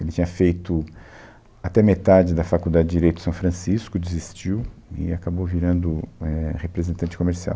Ele tinha feito até metade da Faculdade de Direito São Francisco, desistiu e acabou virando éh representante comercial.